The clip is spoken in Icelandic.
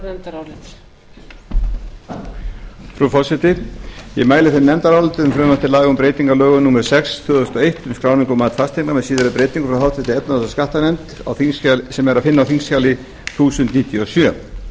mæli fyrir nefndaráliti um frumvarp til laga um breytingu á lögum númer sex tvö þúsund og eitt um skráningu og mat fasteigna með síðari breytingum frá efnahags og skattanefnd sem er að finna á þingskjali þúsund og níutíu og sjö